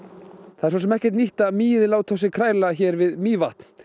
það er svo sem ekkert nýtt að mýið láti á sér kræla hér við Mývatn